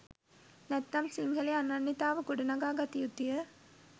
නැත්නම් සිංහලේ අනන්න්‍යතාව ගොඩනගා ගත යුතුය